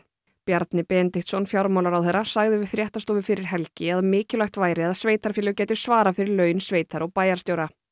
Bjarni Benediktsson fjármálaráðherra sagði við fréttastofu fyrir helgi að mikilvægt væri að sveitarfélög gætu svarað fyrir laun sveitar og bæjarstjóra